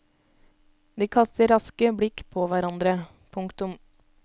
De kaster raske blikk på hverandre. punktum